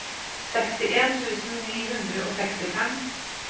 sekstien tusen ni hundre og sekstifem